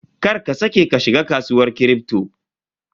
Kar ka saƙe ka shiga kasuwar Kripto.